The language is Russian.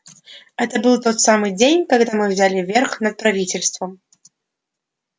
это был тот самый день когда мы взяли верх над правительством